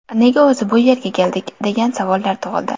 Nega o‘zi bu yerga keldik?”, degan savollar tug‘ildi.